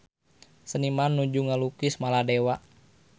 Seniman nuju ngalukis Maladewa